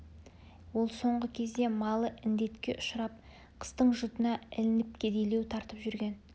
ол соңғы кезде малы індетке ұшырап қыстың жұтына ілініп кедейлеу тартып жүрген